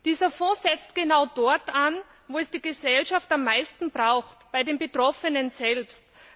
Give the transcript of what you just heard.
Dieser Fonds setzt genau dort an, wo es die Gesellschaft am meisten braucht, bei den Betroffenen selbst.